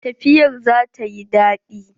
Tafiyar za ta yi daɗi.